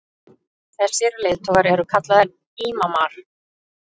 þessir leiðtogar eru kallaðir ímamar